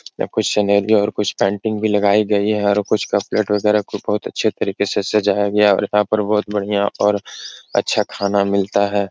या कुछ सिनेरी और पैंटिंग भी लगाई गई हैं और कुछ कप प्लेट वगैरा को बहुत अच्छे तरीके से सजाया गया और यहाँ पर बोहोत बढ़ियां और अच्छा खाना मिलता है।